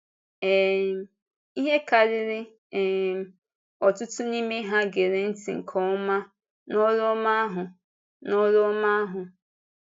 um Ihe karịrị um ọtụtụ n’ime ha gèrè ntị nke ọma n’ọrụ ọma ahụ. n’ọrụ ọma ahụ.